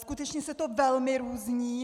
Skutečně se to velmi různí.